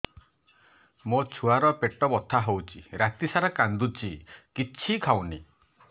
ମୋ ଛୁଆ ର ପେଟ ବଥା ହଉଚି ରାତିସାରା କାନ୍ଦୁଚି କିଛି ଖାଉନି